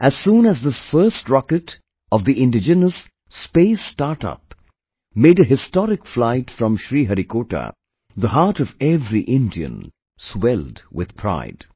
As soon as this first rocket of the indigenous Space Startup made a historic flight from Sriharikota, the heart of every Indian swelled with pride